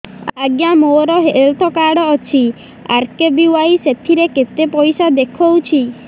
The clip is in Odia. ଆଜ୍ଞା ମୋର ହେଲ୍ଥ କାର୍ଡ ଅଛି ଆର୍.କେ.ବି.ୱାଇ ସେଥିରେ କେତେ ପଇସା ଦେଖଉଛି